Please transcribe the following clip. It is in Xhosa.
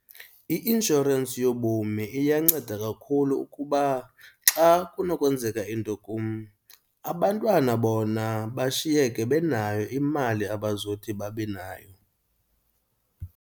I-inshorensi yobomi iyanceda kakhulu ukuba xa kunokwenzeka into kum abantwana bona bashiyeke benayo imali abazothi babe nayo.